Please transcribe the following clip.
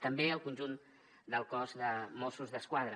també al conjunt del cos de mossos d’esquadra